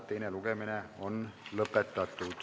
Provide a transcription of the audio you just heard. Teine lugemine on lõppenud.